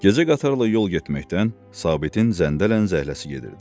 Gecə qatarla yol getməkdən Sabitin zəndərən zəhləsi gedirdi.